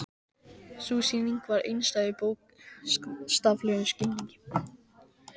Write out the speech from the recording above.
Sú sýning var einstæð í bókstaflegum skilningi.